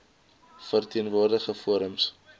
verteen woordigende forums